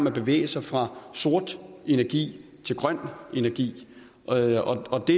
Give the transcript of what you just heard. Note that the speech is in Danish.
at bevæge sig fra sort energi til grøn energi og og det